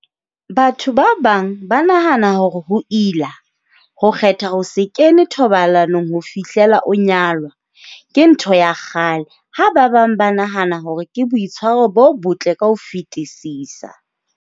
Batho ba bang ba nahana hore ho ila, ho kgetha ho se kene thobalanong ho fihlela o nyalwa. Ke ntho ya kgale, ha ba bang ba nahana hore ke boitshwaro bo botle ka ho fetisisa.